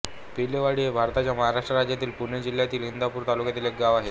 पिलेवाडी हे भारताच्या महाराष्ट्र राज्यातील पुणे जिल्ह्यातील इंदापूर तालुक्यातील एक गाव आहे